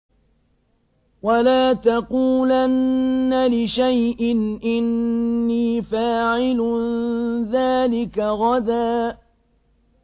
وَلَا تَقُولَنَّ لِشَيْءٍ إِنِّي فَاعِلٌ ذَٰلِكَ غَدًا